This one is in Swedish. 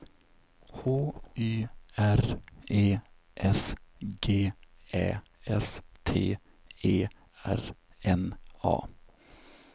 H Y R E S G Ä S T E R N A